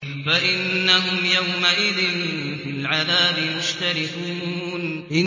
فَإِنَّهُمْ يَوْمَئِذٍ فِي الْعَذَابِ مُشْتَرِكُونَ